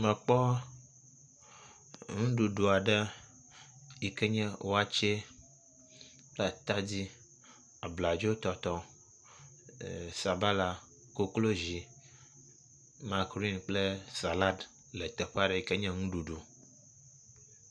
Mekpɔ nuɖuɖu aɖe yi ke nye wakye, atadi, abladzotɔtɔ, eesabala, koklozi, makrin kple sala yi ke nye nuɖuɖu.